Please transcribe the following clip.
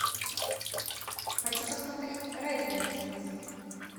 хочу посмотреть ретро на телевизоре